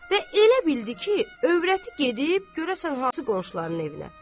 Və elə bildi ki, övrəti gedib görəsən hansı qonşuların evinə.